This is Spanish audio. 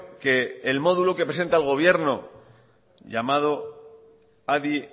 que el modulo que presenta el gobierno llamado adi